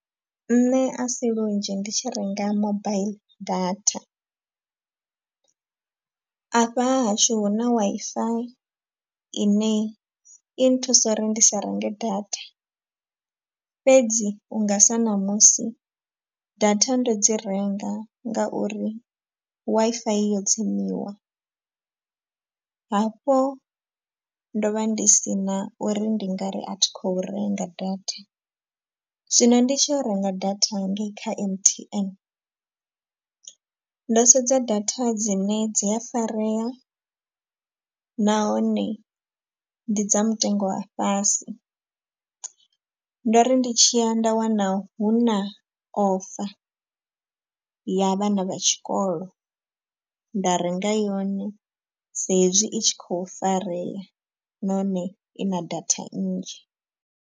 Nṋe a si lunzhi ndi tshi renga mobile data. Afha ha hashu hu na Wi-Fi ine i nthusa uri ndi sa renge data. Fhedzi unga sa ṋamusi data ndo dzi renga ngauri Wi-Fi yo tsimisiwa. Hafho ndo vha ndi si na uri ndi ngari a thi khou renga data, zwino ndi tshi renga data hangei kha M_T_N. Ndo sedza data dzine dzi a farea nahone ndi dza mutengo wa fhasi. Ndo ri ndi tshi ya nda wana hu na ofa ya vhana vha tshikolo nda renga yone sa hezwi i tshi khou farea nahone i na data nnzhi.